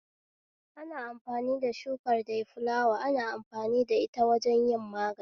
Ana amfani da shukar dayfulawa ana amfani da ita wajen yin magani